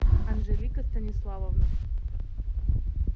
анжелика станиславовна